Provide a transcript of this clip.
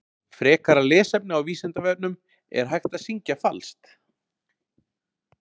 Frekara lesefni á Vísindavefnum Er hægt að syngja falskt?